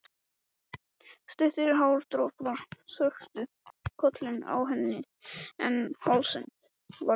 Stuttir hártoppar þöktu kollinn á henni en hálsinn var ber.